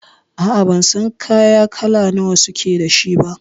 A'a, ban san kaya kala nawa suke da shi ba.